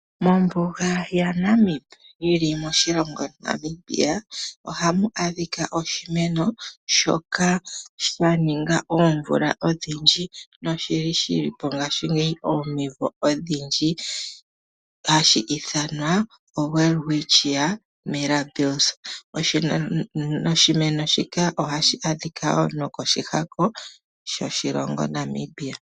Mombuga ya Namib yili moshilongo Namibia ohamu adhika oshimeno shoka sha ninga oomvula odhindji noshili shilipo ngashingeyi omimvo odhindji hashi ithanwa o Welwistchia Mirabils. Oshimeno shika ohashi adhika woo no koshihako shoshilongo Namibia.